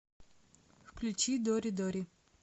включи дори дори